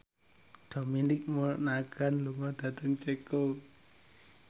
Dominic Monaghan lunga dhateng Ceko